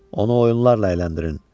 Onu oyunlarla əyləndirin.